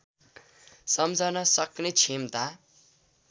सम्झन सक्ने क्षमता